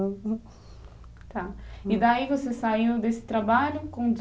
E daí você saiu desse trabalho